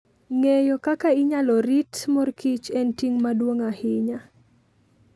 Ng'eyo kaka inyalo rit mor kich en ting' maduong' ahinya.